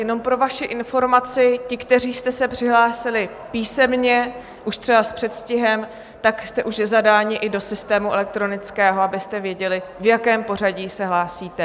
Jenom pro vaši informaci, ti, kteří jste se přihlásili písemně už třeba s předstihem, tak jste už zadáni i do systému elektronického, abyste věděli, v jakém pořadí se hlásíte.